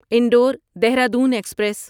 Indore Dehradun express